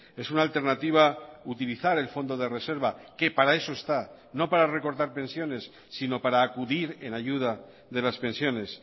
es una alternativa utilizar el fondo de reserva que para eso está no para recortar pensiones sino para acudir en ayuda de las pensiones